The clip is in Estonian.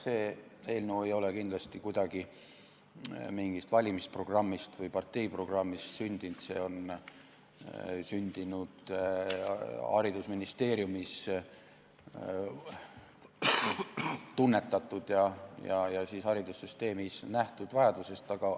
See eelnõu ei ole kindlasti mingist valimisprogrammist või parteiprogrammist sündinud, see on sündinud haridusministeeriumis tunnetatud ja haridussüsteemis nähtud vajadusest.